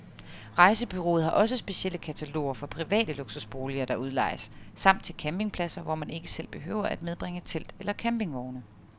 Rejsebureauet har også specielle kataloger for private luksusboliger, der udlejes, samt til campingpladser, hvor man ikke selv behøver at medbringe telt eller campingvogne.